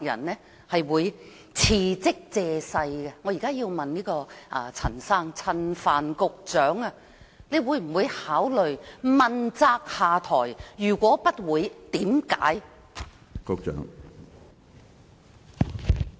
我現在要問陳帆局長，你會否考慮問責下台；如果不會，原因是甚麼？